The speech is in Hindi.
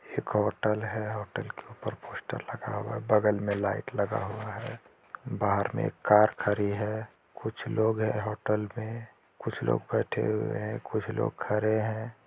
एक होटल है होटल के ऊपर पोस्टर लगा हुआ है बगल में लाइट लगा हुआ है बाहर में एक कार खरी है कुछ लोग है होटल में कुछ लोग बैठे हुए है कुछ लोग खरे हैं।